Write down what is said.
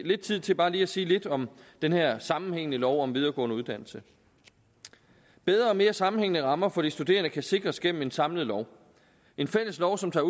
lidt tid til bare lige at sige lidt om den her sammenhængende lov om videregående uddannelse bedre og mere sammenhængende rammer for de studerende kan sikres gennem en samlet lov en fælles lov som tager